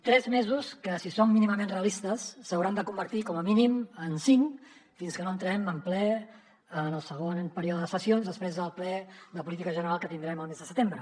tres mesos que si són mínimament realistes s’hauran de convertir com a mínim en cinc fins que no entrem de ple en el segon període de sessions després del ple de política general que tindrem el mes de setembre